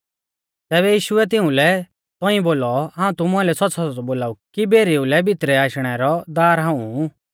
तैबै यीशुऐ तिउंलै तौंइऐ बोलौ हाऊं तुमु आइलै सौच़्च़ौसौच़्च़ौ बोलाऊ कि भेरीऊ लै भितरै आशणै रौ दार हाऊं ऊ